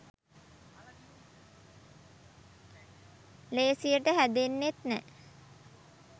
ලේසියට හැදෙන්නෙත් නෑ